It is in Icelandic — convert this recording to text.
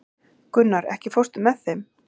Gunnar, ekki fórstu með þeim?